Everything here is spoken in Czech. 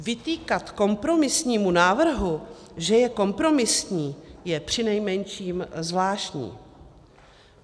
Vytýkat kompromisnímu návrhu, že je kompromisní, je přinejmenším zvláštní.